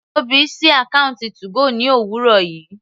Tóbi sí àkọ́ùntì 2go ní òwúrọ̀ yìí.